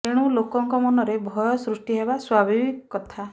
ଏଣୁ ଲୋକଙ୍କ ମନରେ ଭୟ ସୃଷ୍ଟି ହେବା ସ୍ୱଭାବିକ କଥା